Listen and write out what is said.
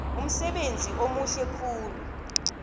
umsebenzi omuhle khulu